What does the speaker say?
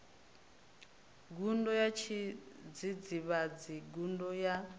gudo ya tshidzidzivhadzi gudo ya